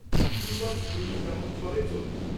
-School bus ওই দিন যেমন চলে চলবে।